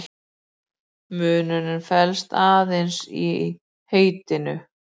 Munurinn felst aðeins í heitinu.